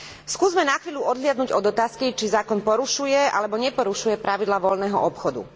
Skúsme na chvíľu odhliadnuť od otázky, či zákon porušuje alebo neporušuje pravidlá voľného obchodu.